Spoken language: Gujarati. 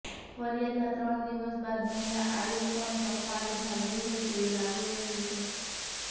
ફરિયાદના ત્રણ દિવસ બાદ મહિલા આયોગ પણ સફાળે જાગ્યું હોય તેવું લાગી રહ્યું છે